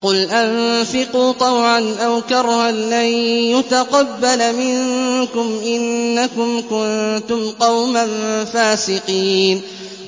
قُلْ أَنفِقُوا طَوْعًا أَوْ كَرْهًا لَّن يُتَقَبَّلَ مِنكُمْ ۖ إِنَّكُمْ كُنتُمْ قَوْمًا فَاسِقِينَ